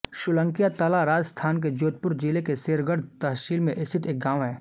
सोलंकिया तला राजस्थान के जोधपुर जिले की शेरगढ़ तहसील में स्थित एक गाँव है